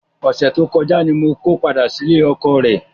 Ọ̀sẹ̀ tó kọjá ni mo ko padà sílé ọkọọ̀ rẹ.